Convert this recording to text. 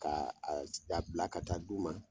K'a a ci k'a bila ka taa d'u ma